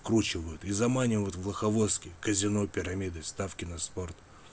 скручивают и заманивают в волковыске казино пирамида ставки на спорт